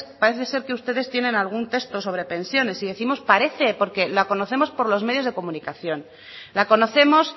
parece ser que ustedes tiene algún texto sobre pensiones y décimos parece porque la conocemos por los medios de comunicación la conocemos